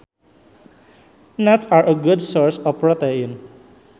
Nuts are a good source of protein